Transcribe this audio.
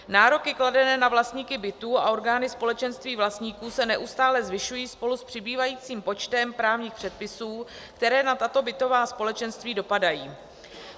Nároky kladené na vlastníky bytů a orgány společenství vlastníků se neustále zvyšují spolu s přibývajícím počtem právních předpisů, které na tato bytová společenství dopadají.